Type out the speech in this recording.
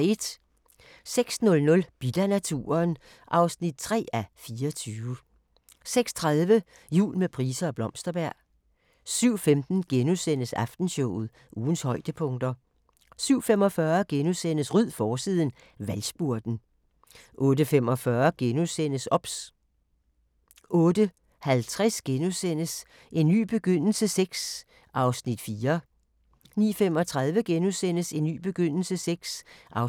06:00: Bidt af naturen (3:24) 06:30: Jul med Price og Blomsterberg 07:15: Aftenshowet – ugens højdepunkter * 07:45: Ryd forsiden - Valgspurten * 08:45: OBS * 08:50: En ny begyndelse VI (4:10)* 09:35: En ny begyndelse VI (5:10)*